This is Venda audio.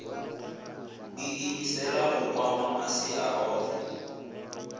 iimisela u kwama masia ohe